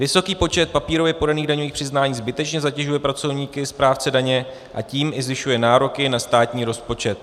Vysoký počet papírově podaných daňových přiznání zbytečně zatěžuje pracovníky správce daně, a tím i zvyšuje nároky na státní rozpočet.